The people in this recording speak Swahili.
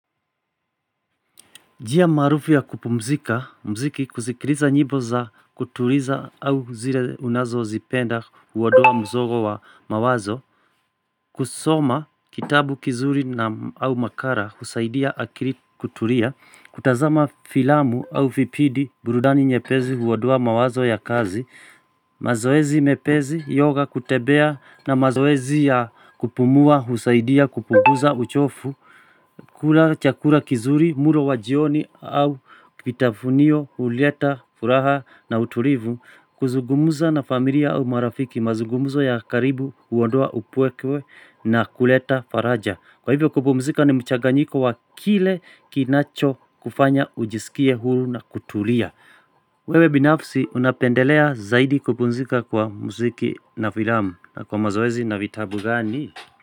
Njia maarufu ya kupumzika, muziki kusikiliza nyimbo za kutuliza au zile unazozipenda huondoa mzogo wa mawazo kusoma kitabu kizuri na au makala husaidia akiloi kutulia kutazama filamu au vipindi burudani nyepesi huondoa mawazo ya kazi mazoezi mepesi, yoga kutembea na mazoezi ya kupumua husaidia kupunguza uchovu kula chakula kizuri, mlo wa jioni au kitafunio, ulieta, furaha na utulivu kuzungumza na familia au marafiki mazungumuzo ya karibu huondoa upweke na kuleta faraja. Kwa hivyo kupumzika ni mchaganyiko wa kile kinacho kufanya ujisikie huru na kutulia. Wewe binafsi unapendelea zaidi kupumzika kwa muziki na filamu na kwa mazoezi na vitabu gani?